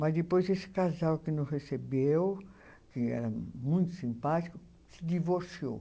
Mas depois esse casal que nos recebeu, que era muito simpático, se divorciou.